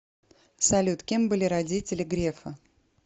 салют кем были родители грефа